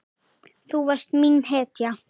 Þú varst mín hetja.